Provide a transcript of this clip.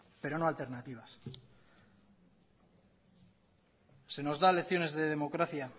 pero no alternativas se nos da lecciones de democracia